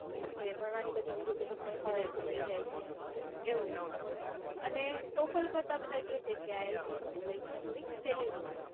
કે ભણવાની બધી વિગતો તમને સહેલાઈથી મળી જાય છે ને એવું છે. અને total કરતા બધા કે છે કે ielts ની પરીક્ષા થોડીક સહેલી હોય છે.